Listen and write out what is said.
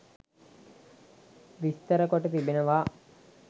විස්තර කොට තිබෙනවා.